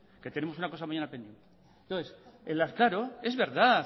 que tenemos una cosa mañana pendiente es verdad